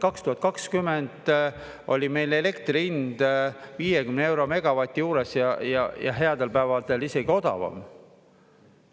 2020 oli meil elektri hind 50 euro megavati juures ja headel päevadel isegi odavam.